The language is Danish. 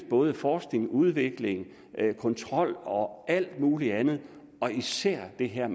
både forskning udvikling kontrol og alt muligt andet og især det her